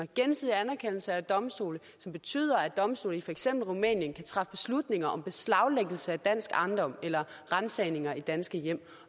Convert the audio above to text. gensidig anerkendelse af domstole betyder at domstole i for eksempel rumænien kan træffe beslutninger om beslaglæggelse af dansk ejendom eller ransagninger i danske hjem